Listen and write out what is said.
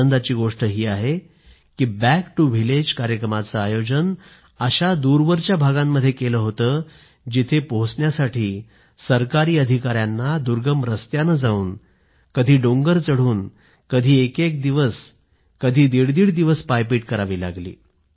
आनंदाची गोष्ट ही आहे की बँक टु व्हिलेज कार्यक्रमाचं आयोजन अशा दूरवरील भागांमध्ये केलं होतं की जिथं पोहचण्यासाठी सरकारी अधिकाऱ्यांना दुर्गम रस्त्यानं जाऊन पहाड चढून कधी कधी एक दिवस तर कधी दीड दिवस पायपीट करावी लागली